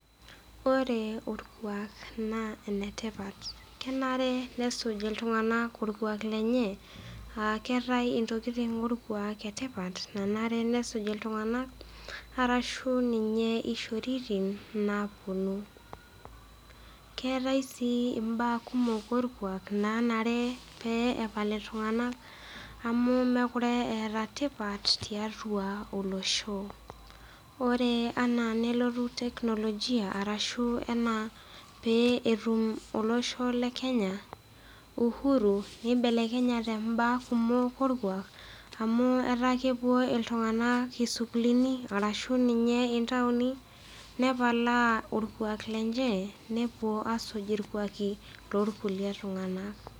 Ore olkuak naa enetipat. Kenare nesuj iltung'ana olkuak lenye, aa keatai intokitin etipat olkuak nanare nesuj iltung'ana arashu ninye ishoritin nawuonu. Keatai sii imbaa kumok olkuak nanare nepal iltung'ana amu mekure eata tipat tiatua olosho. Ore anaa nelotu teknolojia arashu ninye anaa netum olosho le Kenya uhuru neibelekenyate imbaa kumok olkuak amu etaa kewuo iltung'ana isukulini ashu ninye intaoni nepalaa olkuak lenche newuo asuj olkuak lolkulie tung'ana.